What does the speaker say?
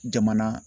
Jamana